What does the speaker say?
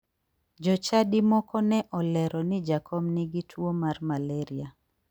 Jochadi moko ne olero ni jakom nigi tuo mar malaria